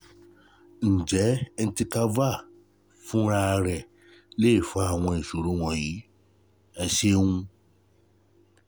Ǹjẹ́ Entecavir fúnra rẹ̀ lè fa àwọn ìṣòro wọ̀nyí? Ẹ ṣeun